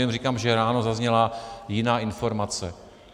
Jenom říkám, že ráno zazněla jiná informace.